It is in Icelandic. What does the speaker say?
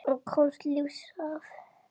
Og komist lífs af.